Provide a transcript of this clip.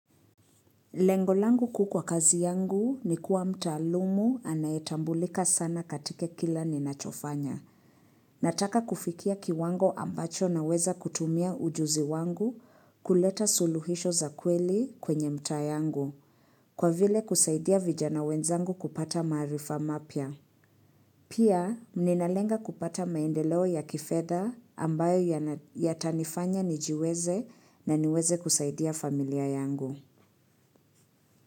Lengolangu kuu kwa kazi yangu ni kuwa mtaalumu anayetambulika sana katika kila ninachofanya. Nataka kufikia kiwango ambacho naweza kutumia ujuzi wangu kuleta suluhisho za kweli kwenye mtaa yangu kwa vile kusaidia vijana wenzangu kupata maarifa mapya. Pia, ninalenga kupata maendeleo ya kifedha ambayo yatanifanya nijiweze na niweze kusaidia familia yangu.